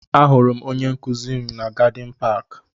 Ahụrụ m onye nkụzi m na Gadin paaki.